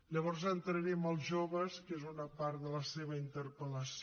llavors entraré en els joves que és una part de la seva interpel·lació